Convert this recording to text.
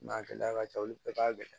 N'a gɛlɛya ka ca olu bɛɛ ka gɛlɛn